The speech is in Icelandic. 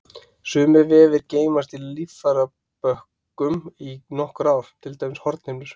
Sumir vefir geymast í líffærabönkum í nokkur ár, til dæmis hornhimnur.